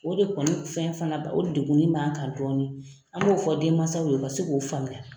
O de kɔni fɛn fana b'an, o degunin b'an kan dɔɔni. An b'o fɔ denmansaw ye, o ka se k'o faamuya.